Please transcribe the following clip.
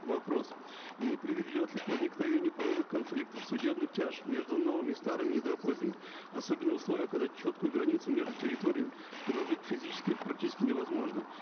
вопрос не приведет ли к возникновению правовых конфликтов судебных тяжб между новыми и старыми особенно в условиях когда четкую границу между территориями проложить физически практически невозможно